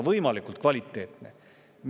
Võimalikult kvaliteetne!